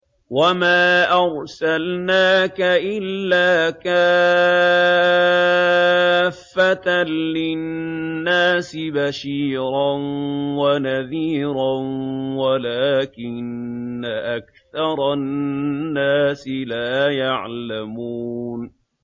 وَمَا أَرْسَلْنَاكَ إِلَّا كَافَّةً لِّلنَّاسِ بَشِيرًا وَنَذِيرًا وَلَٰكِنَّ أَكْثَرَ النَّاسِ لَا يَعْلَمُونَ